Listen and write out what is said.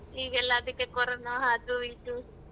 ಈಗೆಲ್ಲಾ ಅದಿಕ್ಕೆ ಕೊರೊನಾ ಅದು ಇದು.